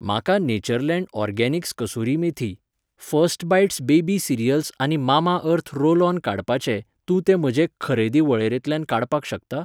म्हाका Natureland organics kasuri methi , first bites baby cereals आनी Mamaearth roll on काडपाचे, तूं ते म्हजे खरेदी वळेरेंतल्यान काडपाक शकता?